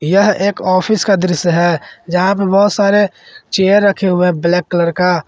यह एक ऑफिस का दृश्य है यहां पे बहुत सारे चेयर रखे हुए हैं ब्लैक कलर का।